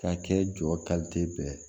K'a kɛ jɔ bɛɛ ye